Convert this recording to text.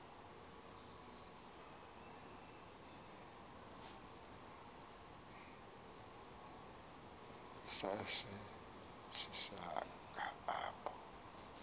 sase sisakha apho